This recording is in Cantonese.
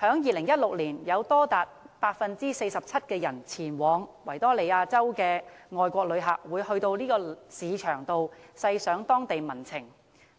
在2016年有多達 47% 前往維多利亞州的外國旅客，會到該市場細賞當地民情。